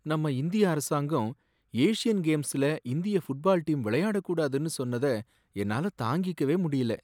நம்ம இந்திய அரசாங்கம் ஏஷியன் கேம்ஸ்ல இந்திய ஃபுட்பால் டீம் விளையாடக் கூடாதுன்னு சொன்னத என்னால தாங்கிக்கவே முடியல.